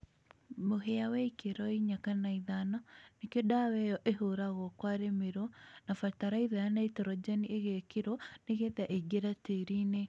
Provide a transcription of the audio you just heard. mũhĩa wĩ gĩkĩro ĩnya kana ĩthano nĩrĩo dawa ĩyo ĩhũragũo kwarĩmĩrũo na bataraĩtha ya naĩtrojenĩ ĩgekĩrũo nĩgetha ĩĩngĩre tĩĩrĩ ĩnĩ